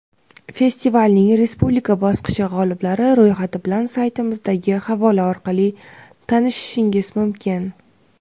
Festivalning respublika bosqichi g‘oliblari ro‘yxati bilan saytimizdagi havola orqali tanishishingiz mumkin.